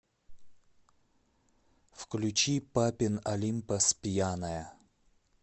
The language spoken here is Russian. включи папин олимпос пьяная